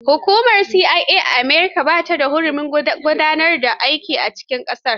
Hukumar CIA ta America ba ta da hurumin gudanar da aiki a cikin ƙasar.